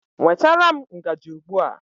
Nwetara m ngaji ugbu a!